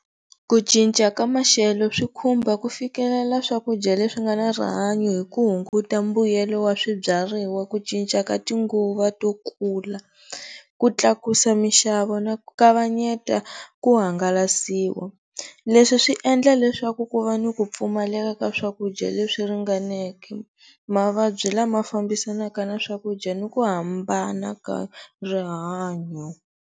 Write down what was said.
Ku cinca ka maxelo swi khumba ku fikelela swakudya leswi nga ni rihanyo hi ku hunguta mbuyelo wa swibyariwa, ku cinca ka tinguva to kula, ku tlakusa mixavo na ku kavanyeta ku hangalasiwa. Leswi swi endla leswaku ku va ni ku pfumaleka ka swakudya leswi ringaneke, mavabyi lama fambisanaka na swakuda ni ku hambana ka rihanyo.